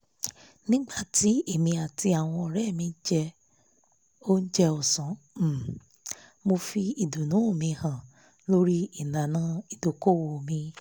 nígbà tí èmi àti àwọn ọ̀ré mi jẹ oúnjẹ ọ̀sán um mo fi ìdùnú mi hàn lórí ìlànà ìdókòwò mi